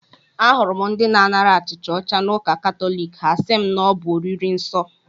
Ahụrụ m ndị na-anara achịcha ọcha n'ụka katọlik, ha asị m na ọ bụ oriri nsọ